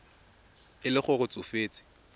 e le gore o tsofetse